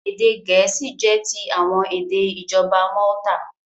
Èdè Gẹ̀ẹ́sì jẹ́ ti àwọn èdè ìjọba Malta.